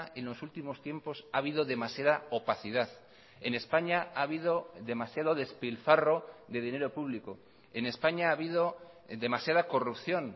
en los últimos tiempos ha habido demasiada opacidad en españa ha habido demasiado despilfarro de dinero público en españa ha habido demasiada corrupción